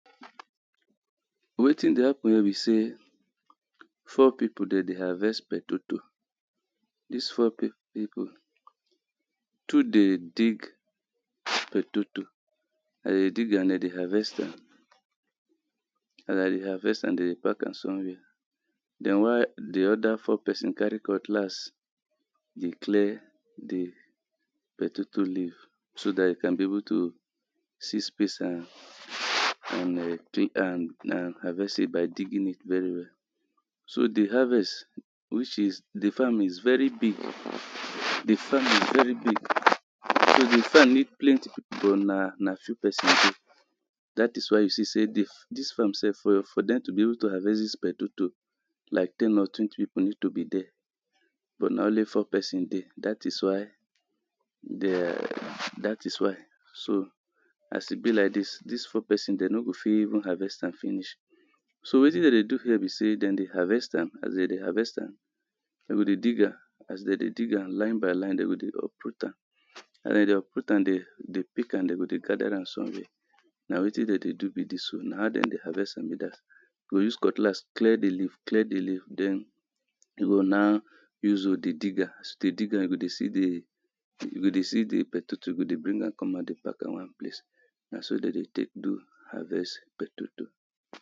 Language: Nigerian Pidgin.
wetin dey happen here be say, four people dem dey harvest petoto, this four people um, two dey dig petoto, um dem dey dig and dem dey harvest am, dem dey harvest and dem dey pack am somewhere then why the other four person carry cutlass dey clear the petoto leave so that it can be able to see space and um and and harvest it by digging it very well, so the harvest which is the farm is very big, the farm is very big so the farm need plenty people na na few person that is why you see say this farm sef for them to be able to harvest this petato like ten or twenty people needs to be there but na only four dey that is why there that is why as e be like dis this four person dem no go fit harvest am finish, so wetin dem dey do here be say, dem dey harvest am as dem dey harvest am, dem go dig am, as dem dey dig am line by line, dem go dey uproot am, as dem dey uproot am, dem dey dey pick am, dem go dey gather am somewhere, na wetin dem dey do be this o, na how dem dey harvest am be that, dey go use cutlass clear he leaf clear the leaf then go now use hoe they dig am, as dem dig am, as you go see the, you go dey see the petoto, you go dey bring am come out, dey pack am one place, na so dem dey take harvest petoto